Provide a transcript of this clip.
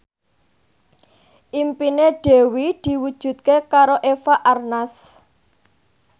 impine Dewi diwujudke karo Eva Arnaz